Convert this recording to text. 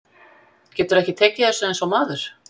Geturðu ekki tekið þessu eins og maður?